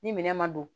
Ni minɛn ma don